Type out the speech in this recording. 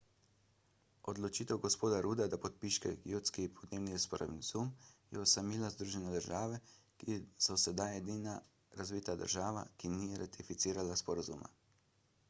odločitev g. rudda da podpiše kjotski podnebni sporazum je osamila združene države amerike ki so zdaj edina razvita država ki ni ratificirala sporazuma